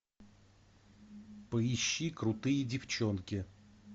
поищи крутые девчонки